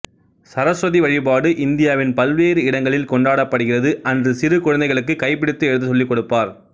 சரஸ்வதி வழிபாடு இந்தியாவின் பல்வேறு இடங்களில் கொண்டாடப்படுகிறது அன்று சிறு குழந்தைகளுக்குக் கைப்பிடித்து எழுதச் சொல்லிக்கொடுப்பர்